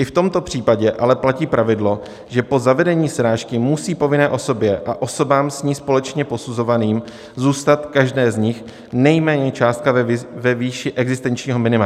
I v tomto případě ale platí pravidlo, že po zavedení srážky musí povinné osobě a osobám s ní společně posuzovaným zůstat každé z nich nejméně částka ve výši existenčního minima.